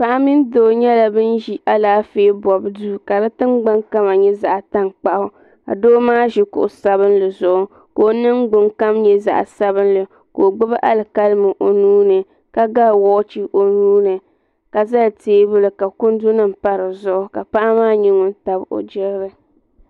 Paɣa mini doo ʒila alaafee bobu duu ka fi tingbani kala nyɛ zaɣa tankpaɣu ka doo maa ʒi kuɣu sabinli zuɣu ka o ningbin kom nyɛ zaɣa sabinli ka o gbibi alikalimi o nuuni ka ga woochi o nuuni ka zali teebuli ka kundu nima pa dizuɣu la zaŋ o nuu tabi o jirili.